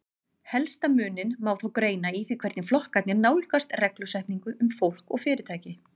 Helsta muninn má þó greina í því hvernig flokkarnir nálgast reglusetningu um fólk og fyrirtæki.